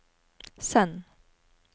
send